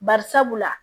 Bari sabula